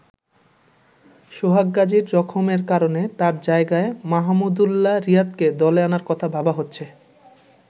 সোহাগ গাজির জখমের কারণে তার জায়গায় মাহমুদউল্লাহ রিয়াদকে দলে আনার কথা ভাবা হচ্ছে।